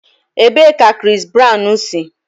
Ebee ka Chris Brown si?